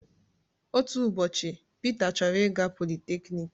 Otu ụbọchị Peter chọrọ ịga polytechnik.